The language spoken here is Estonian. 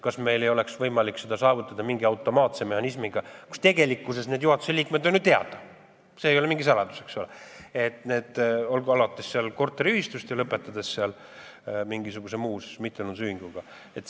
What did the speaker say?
Kas meil ei oleks võimalik seda saavutada mingi automaatse mehhanismiga, kui juhatuse liikmed on tegelikkuses teada, see ei ole mingi saladus – alates korteriühistust ja lõpetades mingisuguse muu mittetulundusühinguga?